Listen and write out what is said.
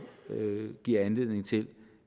give anledning til